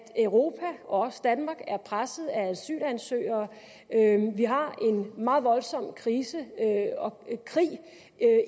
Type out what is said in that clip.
europa og også danmark er presset af asylansøgere vi har en meget voldsom krise og krig